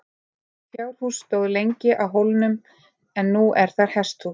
Fjárhús stóð lengi á hólnum en nú er þar hesthús.